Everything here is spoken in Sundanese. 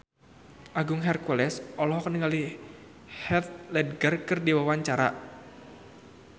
Agung Hercules olohok ningali Heath Ledger keur diwawancara